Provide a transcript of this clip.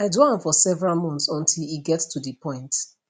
i do am for several months until e get to di point